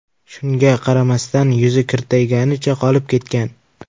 Shunga qaramasdan, yuzi kirtayganicha qolib ketgan.